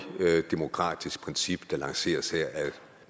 demokratisk princip der lanceres her af